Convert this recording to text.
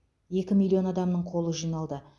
екі миллион адамның қолы жиналды